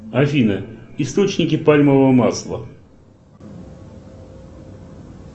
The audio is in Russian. афина источники пальмового масла